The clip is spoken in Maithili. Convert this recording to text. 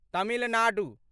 तमिलनाडु